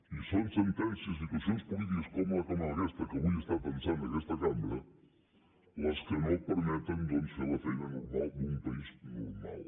i són sentències i situacions polítiques com aquesta que avui estan tensant aquesta cambra les que no permeten doncs fer la feina normal d’un país normal